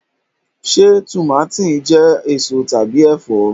Se tùmátìn jẹ eso tàbí ẹfọ?